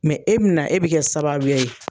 e be na e be kɛ sababuya ye